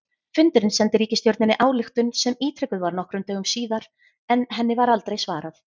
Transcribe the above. Fundurinn sendi ríkisstjórninni ályktun sem ítrekuð var nokkrum dögum síðar, en henni var aldrei svarað.